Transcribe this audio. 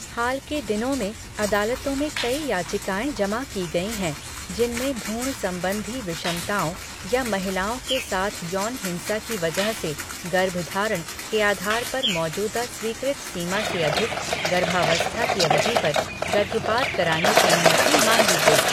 हाल के दिनों में अदालतों में कई याचिकाएँ जमा की गईं हैं जिनमें भ्रूण संबंधी विषमताओं या महिलाओं के साथ यौन हिंसा की वजह से गर्भधारण के आधार पर मौजूदा स्वीकृत सीमा से अधिक गर्भावस्था की अवधि पर गर्भपात कराने की अनुमति माँगी गई।